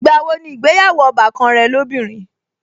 Ìgbà wo ni ìgbéyàwó ọbàkan rẹ lóbìnrin?